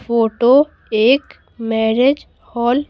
photo एक marriage hall --